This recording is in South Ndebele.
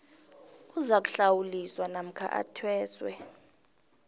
uzakuhlawuliswa namkha athweswe